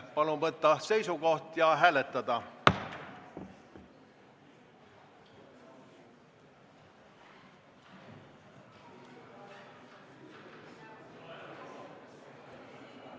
Palun võtta seisukoht ja hääletada!